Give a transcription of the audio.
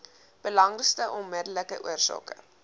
belangrikste onmiddellike oorsake